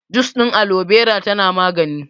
Jus ɗin Alobera tana magani